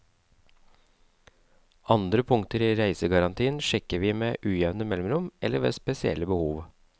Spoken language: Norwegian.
Andre punkter i reisegarantien sjekker vi med ujevne mellomrom eller ved spesielle behov.